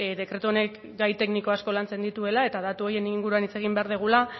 dekretu honek gai tekniko asko lantzen dituela eta datu horien inguruan hitz egin behar dugula